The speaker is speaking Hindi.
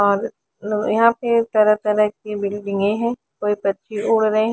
और यहाँ पे तरह तरह की बिल्डिंगे है कोई पंछी उड रहे हैं--